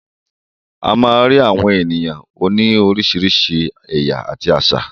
A má ń rí àwọn ènìyàn òní oríṣiríṣi ẹ̀yà àti àṣà.